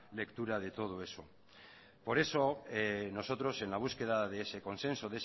lectura de todo eso por eso nosotros en la búsqueda de ese consenso